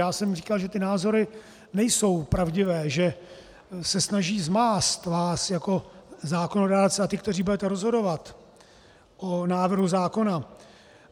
Já jsem říkal, že ty názory nejsou pravdivé, že se snaží zmást vás jako zákonodárce, a ty, kteří budete rozhodovat o návrhu zákona.